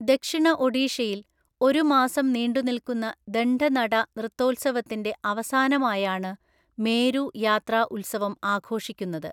ദക്ഷിണ ഒഡീഷയിൽ, ഒരു മാസം നീണ്ടുനിൽക്കുന്ന ദണ്ഡ നട നൃത്തോത്സവത്തിന്റെ അവസാനമായാണ് മേരു യാത്രാ ഉത്സവം ആഘോഷിക്കുന്നത്.